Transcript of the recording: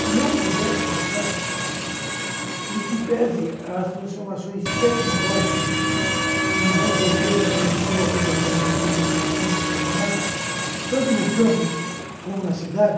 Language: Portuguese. Se eu pudesse mudar, gente, em que pese às transformações tecnológicas que nos anos oitenta começou a penetrar no Brasil de uma forma indiscriminada, tanto no campo como na cidade,